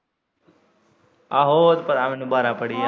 ਆਹੋ ਉਹ ਤਾਂ ਪਤਾ ਮੈਨੂੰ ਬਾਰਾਂ ਪੜੀ ਐਂ।